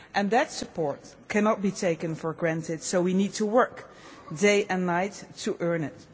That support cannot be taken for granted, so we need to work day and night to earn it.